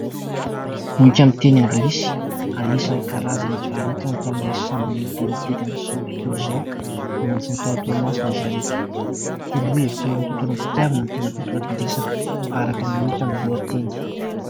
Boky amin'ny teny anglisy. Anisan'ny karazany novarotana tao amin'ilay sambo lehibe mitety an'izao tontolo izao, niantsona tao Toamasina izy ireto. Toro-hevitra eo amin'ny tontolon'ny fitiavana no tena votoatin-dresaka araka ny hita amin'ny lohateny.